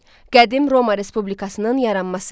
Qədim Roma Respublikasının yaranması.